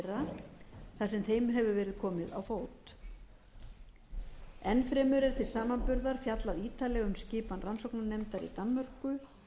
verið komið á fót enn fremur er til samanburðar fjallað ítarlega um skipan rannsóknarnefndar í danmörku